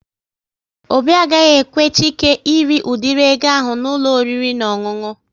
Obi agaghị ekwe Chike ịrị udiri ego ahụ n'ụlọ oriri na ọṅụṅụ